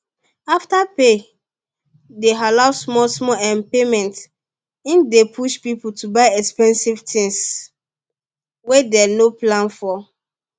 afterpay dey allow small small um payment e dey push people to buy expensive things wey dem no plan for